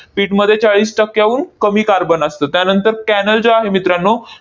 pit मध्ये चाळीस टक्क्याहून कमी कार्बन असतं. त्यानंतर cannel जे आहे मित्रांनो,